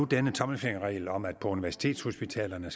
denne tommelfingerregel om at det på universitetshospitalerne